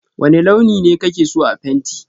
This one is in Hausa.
wane launi ne ka ke so a fenti?